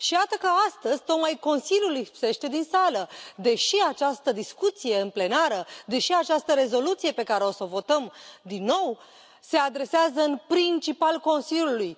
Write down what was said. Și iată că, astăzi, tocmai Consiliul lipsește din sală, deși această discuție în plenară, deși această rezoluție pe care o să o votăm din nou se adresează în principal Consiliului!